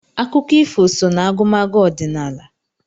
Akụkọ ifo so n'agụmagụ ọdịnala.